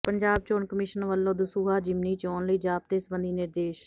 ਪੰਜਾਬ ਚੋਣ ਕਮਿਸ਼ਨ ਵੱਲੋਂ ਦਸੂਹਾ ਜ਼ਿਮਨੀ ਚੋਣ ਲਈ ਜ਼ਾਬਤੇ ਸਬੰਧੀ ਨਿਰਦੇਸ਼